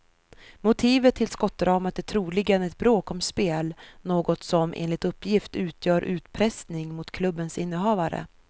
Motivet till skottdramat är troligen ett bråk om spel, något som enligt uppgift utgör utpressning mot klubbens innehavare.